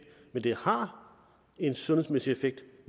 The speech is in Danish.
men det har en sundhedsmæssig effekt